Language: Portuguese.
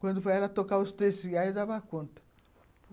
Quando foi ela tocar os, eu dava conta.